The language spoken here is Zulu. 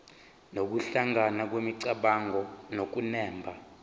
nokuhlangana kwemicabango nokunemba